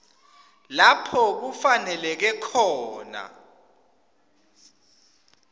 lapho kufaneleke khona